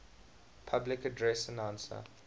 public address announcer